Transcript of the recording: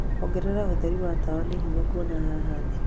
ongerera ũtheri wa tawa nĩ hinya kuona haha thĩĩ